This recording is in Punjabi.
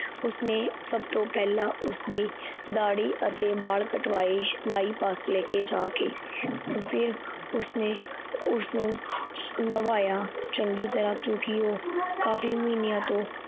ਉਸਨੇ ਸੱਬ ਤੋਂ ਪੈਹਲਾ ਉਸਦੀ ਦਾੜੀ ਅਤੇ ਬਾਲ ਕਟਵਾਏ, ਨਾਈ ਪਾਸ ਲੈਕੇ ਜਾਕੇ, ਫਿਰ ਉਸਨੇ ਉਸਨੂ ਨਵਾਇਆ ਚੰਗੀ ਤਰਾਂ, ਕਿਉਕਿ ਓਹ ਕਾਫੀ ਮਹਿਨੇਂ ਤੋਂ